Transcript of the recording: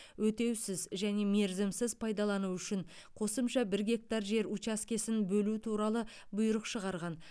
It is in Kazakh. өтеусіз және мерзімсіз пайдалану үшін қосымша бір гектар жер учаскесін бөлу туралы бұйрық шығарған